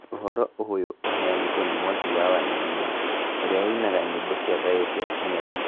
Ũhoro ũyũ ũheanĩtwo nĩ Mwangi wa Wainaina ũrĩa ũinaga nyĩmbo cia thayũ cia kenyabit .